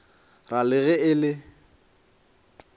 ra le ge e le